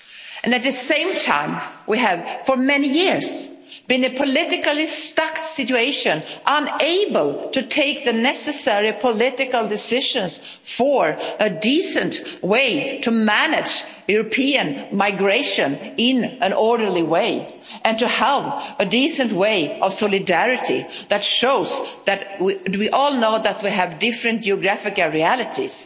And at the same time we have, for many years, been in a politically stuck situation, unable to take the necessary political decisions for a decent way to manage European migration in an orderly way and to have a decent way for solidarity that shows that we all know that we have different geographical realities.